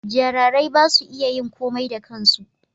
jararai ba su iya yin komai da kansu